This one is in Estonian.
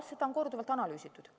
Seda on korduvalt analüüsitud.